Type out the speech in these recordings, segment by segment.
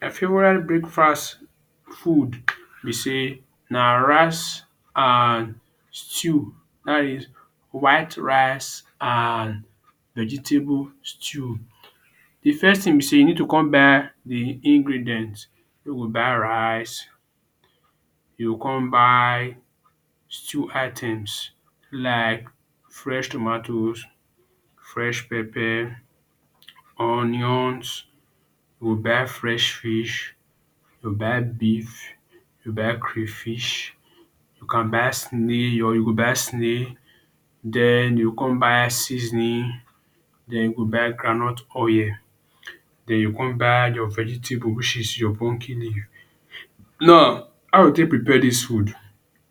My favorite breakfast food be sey na rice and stew. Dat is white rice and vegetable stew. De first thing be sey you need to con buy de ingredients. You go buy rice, you go come buy stew items like fresh tomatoes, fresh pepper, onions. You buy fresh fish, you buy beef, you buy crayfish, you can buy snail or you go buy snail. Den, you come buy seasoning, den you buy groundnut oil. Den you come buy your vegetable which is your pumpkin leaf. Now, how you go take prepare dis food?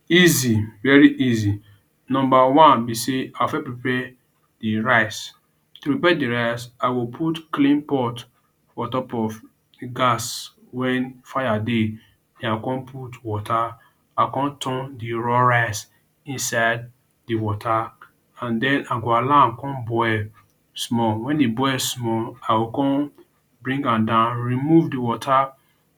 Easy, very easy. Number one be sey I will first prepare de rice. To prepare de rice, I go put clean pot for on top of gas wen fire dey. I come put water, I come turn de raw rice inside de water and den, I go allow am come boil small. Wen e boil small, I go come bring am down, remove de water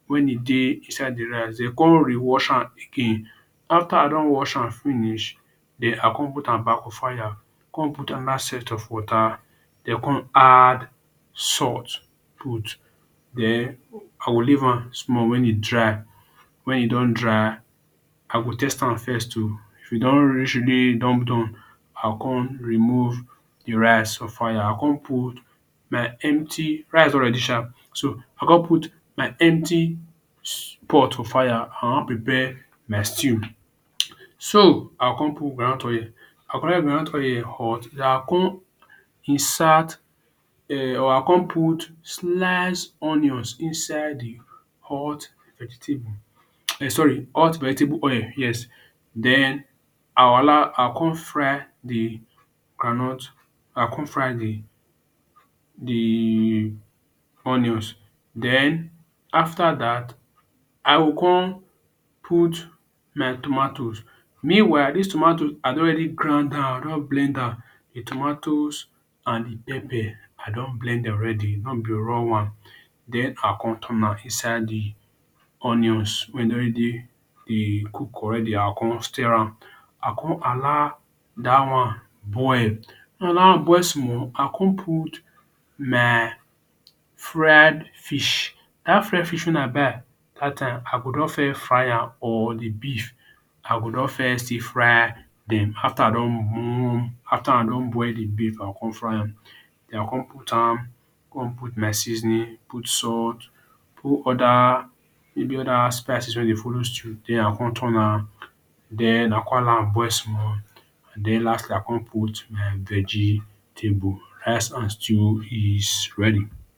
wey e dey inside de rice. Den come rewash am again. After I don wash am finish, den I come put am back for fire, come put another set of water, den come add salt put. Den I go leave am small wen e dry. Wen e don dry, I go test am first oo. If e don reach e don done, I come remove de rice for fire. I come put my empty, rice don already sha. So I come put my empty pot for fire. I wan prepare my stew. So I come put groundnut oil. groundnut oil hot, den I come insert um I come put sliced onions inside de hot vegetable sorry hot vegetable oil, yes. Den I will allow I come fry de groundnut I come fry de de onions. Den after dat, I go come put my tomatoes. Meanwhile dis tomatoes I don already grind am, I don already blend am; de tomatoes and de pepper. I don blend already, no be raw one. Den I come turn am inside de onions wey don already dey cook already. I come stir am. I come allow dat one boil. Wen dat one boil small, I come put my fried fish. Dat fried fish wey I buy dat time, I go don first fry am, or de beef I go don first still fry am dem After I don after I don boil de beef I come fry am. I come put am, come put my seasoning, put salt, put other maybe other spices wey dey follow stew. Den I come turn am. Den I come allow am boil small and den last last I come add my vegetable, rice and stew is ready.